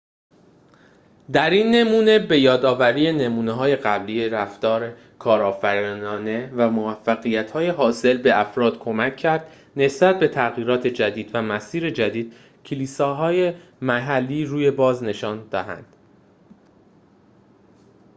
در این نمونه به‌یادآوری نمونه‌های قبلی رفتار کارآفرینانه و موفقیت‌های حاصله به افراد کمک کرد نسبت به تغییرات جدید و مسیر جدید کلیسای محلی روی باز نشان دهند